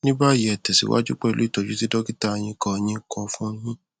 ní báyìí ẹ tẹsíwájú pẹlú ìtọjú tí dọkítà yín kọ yín kọ fun yín